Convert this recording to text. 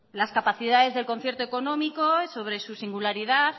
las capacidades del concierto económico sobre su singularidad